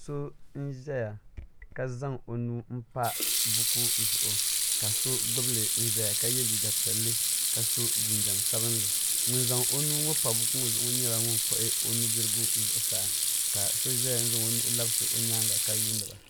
So n zaya ka zaŋ o nuu n pa buku zuɣu ka so gbubi li zaya ka yɛ liiga piɛlli ka so jinjam sabinli ŋun zaŋ o nuu ŋɔ pa buku ŋɔ zuɣu nyɛla ŋun kpuɣi o nudirigu zuɣusaa ka so zaya n zaŋ o nuhi labisi o nyaanga ka yuuni ba.